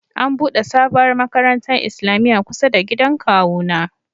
An'bude sabowar makarantan islamia kusa da gidan kawu na.